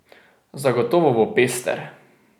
Zagotovo bo pester.